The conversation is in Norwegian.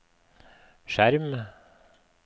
skjerm